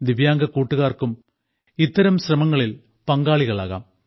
ദിവ്യാംഗരായ കൂട്ടുകാർക്കും ഇത്തരം ശ്രമങ്ങളിൽ പങ്കാളികളാകാം